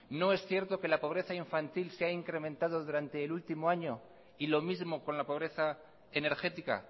no es cierto que la pobreza infantil se ha incrementado durante el último año y lo mismo con la pobreza energética